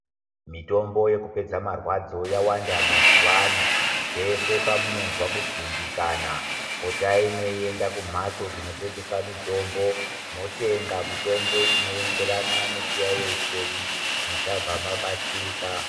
Mitombo yekupedza marwadzo yawanda mazuvano. Pese pamunozwa kudzimbikana, potai meienda kumhatso dzinotengese mitombo. Motenga mitombo inoenderana nechiyaiyo chenyu, muchabva mabatsirika.